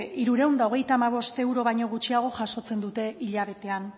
hirurehun eta hogeita hamabost euro baino gutxiago jasotzen dute hilabetean